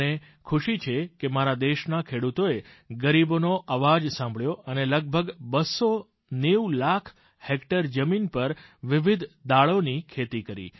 મને ખુશી છે કે મારા દેશના ખેડૂતોએ ગરીબોનો અવાજ સાંભળ્યો અને લગભગ બસો નેવું લાખ હેક્ટર જમીન પર વિવિધ દાળોની ખેતી કરી